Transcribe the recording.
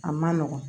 A man nɔgɔn